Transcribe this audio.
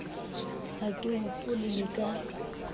ha ke hopole le ka